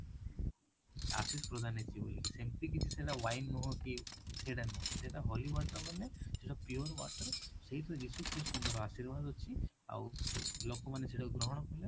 ଆଶିଷ ପ୍ରଦାନ ହେଇଛି ବୋଲି କି ସେମିତି କିଛି ସେଇଟା wine ନୁହଁ କି ସେଇଟା ନୁହଁ ସେଇଟା holy water ବୋଲେ ସେଇ ଯୋଉ pure water ସେଇଥିରେ ଯୀଶୁ ଖ୍ରୀଷ୍ଟ ଙ୍କର ଆଶୀର୍ଵାଦ ଅଛି ଆଉ ଲୋକ ମାନେ ସେଇଟାକୁ ଗ୍ରହଣ କଲେ